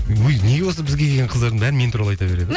өй неге осы бізге келген қыздардың бәрі мен туралы айта береді